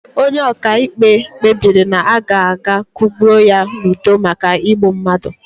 Onye ọkaikpe kpebiri na a ga akwụgbu ya n'ụdọ maka igbu mmadụ.